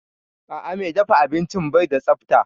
A'a, mai dafa abincin bai da tsafta